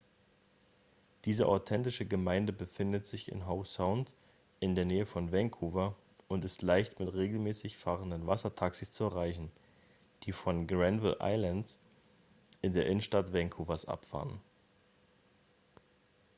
diese authentische gemeinde befindet sich in howe sound in der nähe von vancouver und ist leicht mit regelmäßig fahrenden wassertaxis zu erreichen die von granville island in der innenstadt vancouvers abfahren